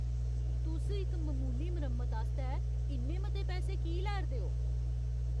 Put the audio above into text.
तुस इक ममूली मरम्मत आस्तै इन्ने मते पैसे की लै 'रदे ओ?